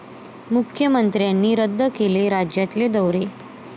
मुख्यमंत्र्यांनी रद्द केले राज्यातले दौरे